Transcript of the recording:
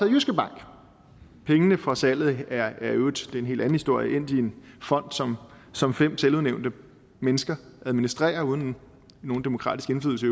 jyske bank pengene fra salget er i øvrigt det er en helt anden historie endt i en fond som som fem selvudnævnte mennesker administrerer uden nogen demokratisk indflydelse